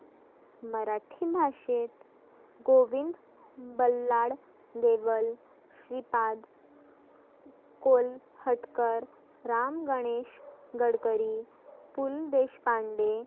मराठी भाषेत गोविंद, बल्लाळ, देवल, श्रिपाद कोल, हटकर, रामगणेश, गडकरी, पु ल देशपांडे